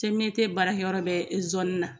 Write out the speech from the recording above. baarakɛyɔrɔ bɛ na.